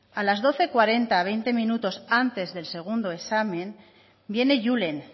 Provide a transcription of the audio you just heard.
a las doce cuarenta veinte minutos antes del segundo examen viene julen